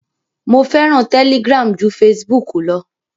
Mo fẹ́ràn Telegram ju Facebook lọ.